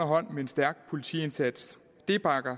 hånd med en stærk politiindsats det bakker